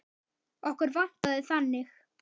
Okkur vantaði þannig.